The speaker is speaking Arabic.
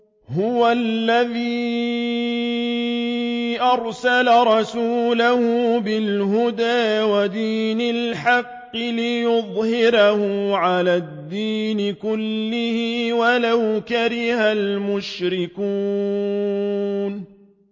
هُوَ الَّذِي أَرْسَلَ رَسُولَهُ بِالْهُدَىٰ وَدِينِ الْحَقِّ لِيُظْهِرَهُ عَلَى الدِّينِ كُلِّهِ وَلَوْ كَرِهَ الْمُشْرِكُونَ